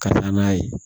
Ka taa n'a ye